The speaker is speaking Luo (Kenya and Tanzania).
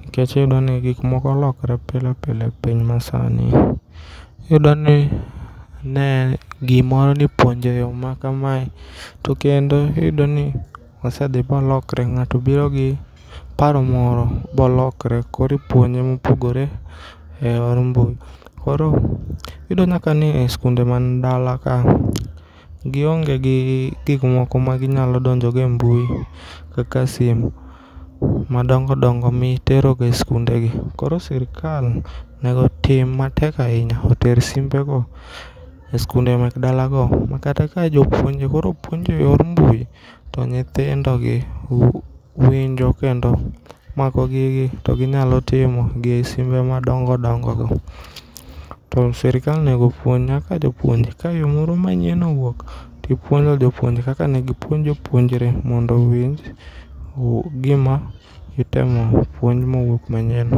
nikech iyudoni gikmoko lokre pilepile e piny masani. Iyudoni ne gimoro neipuonjo e yoo makamae tokendo iyudoni osedhi bolokre.Ng'ato birogi paro moro bolokre koro ipuonje mopogore e yor mbui koro iyudoni nyakani e skunde man dala ka giongegi gikmoko ma ginyalodonjogo e mbui kaka simu madongodongo miteroga e skundegi koro sirkal onego otim matek ainya oter simbego e skunde mak dalago ma kata ka jopuonje koro puonjo e yor mbui tonyithindogi winjo kendo makogigi toginyalotimo gi simbe madongo dongo go. To sirkal onego opuonj nyaka jopuonje ka yoo moro manyien owuok topuonjo jopuonje kaka negipuonj jopuonjre mondo ong'e gima itemo puonj mowuok manyien.